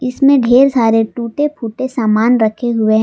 इसमें ढेर सारे टूटे फूटे सामान रखे हुए हैं।